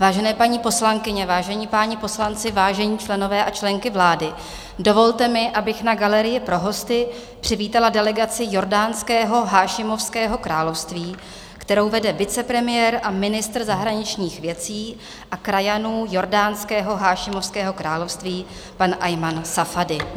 Vážené paní poslankyně, vážení páni poslanci, vážení členové a členky vlády, dovolte mi, abych na galerii pro hosty přivítala delegaci Jordánského hášimovského království, kterou vede vicepremiér a ministr zahraničních věcí a krajanů Jordánského hášimovského království, pan Ajman Safadí.